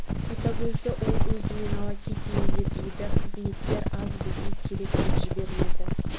ботагөзді ол өзімен ала кетейін деп еді қызметкер аз бізге керек деп жібермеді